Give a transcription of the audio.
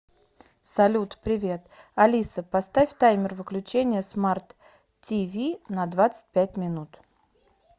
салют привет алиса поставь таймер выключения смарт ти ви на двадцать пять минут